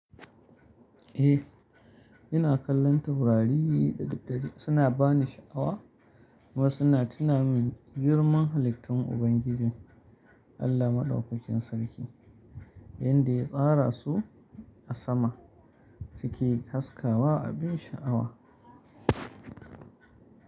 Eh, ina kallon taurari da daddare suna bani sha'awa kuma suna tuna min girman halittun Ubangijin Allah Madaukakin Sarki, yanda ya tsara su a sama ciki haskawa abin sha'awa.